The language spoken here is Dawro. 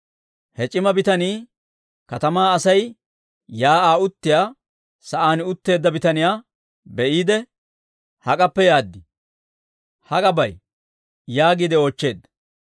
He c'ima bitanii katamaa Asay shiik'uwaa uttiyaa sa'aan utteedda bitaniyaa be'iide, «Hak'appe yaaddi? Hak'a bay?» yaagiide oochcheedda.